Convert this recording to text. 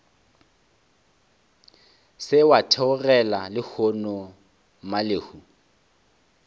se wa theogela lehono mmalehu